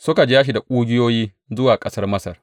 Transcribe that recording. Suka ja shi da ƙugiyoyi zuwa ƙasar Masar.